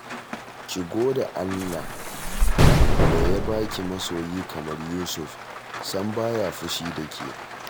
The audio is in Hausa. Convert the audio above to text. Ki gode Allah da ya ba ki masoyi kamar Yusuf, sam ba ya fushi da ke